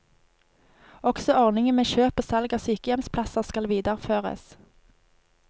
Også ordningen med kjøp og salg av sykehjemsplasser skal videreføres.